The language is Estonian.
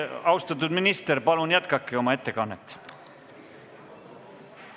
Austatud minister, palun jätkake oma ettekannet!